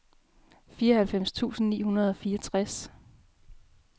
fireoghalvfems tusind ni hundrede og fireogtres